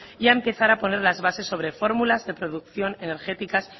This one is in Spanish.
y a empezar a poner las bases sobre fórmulas de producción energéticas